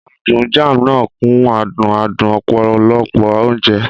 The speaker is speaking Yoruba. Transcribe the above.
Adùn Jam náà kún adùn adùn ọ̀pọ̀lọpọ̀ oúnjẹ.